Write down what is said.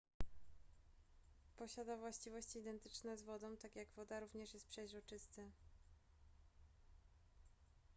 posiada właściwości identyczne z wodą tak jak woda również jest przezroczysty